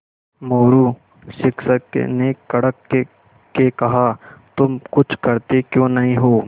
मोरू शिक्षक ने कड़क के कहा तुम कुछ करते क्यों नहीं हो